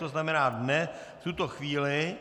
To znamená ne v tuto chvíli.